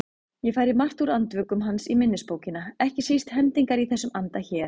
Ég færi margt úr Andvökum hans í minnisbókina, ekki síst hendingar í þessum anda hér